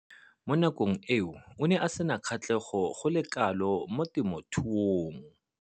Mo nakong eo o ne a sena kgatlhego go le kalo mo temothuong.